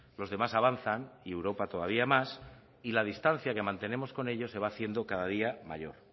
los demás avanzan y europa todavía más y la distancia que mantenemos con ellos se va haciendo cada día mayor